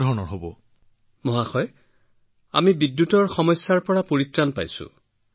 মহাশয় গোটেই গাওঁখনৰ লোকসকল তেওঁলোকৰ কৃষি আছে সেয়েহে আমি বিদ্যুতৰ সমস্যাৰ পৰা পৰিত্ৰাণ পাইছো